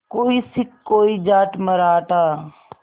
कोई सिख कोई जाट मराठा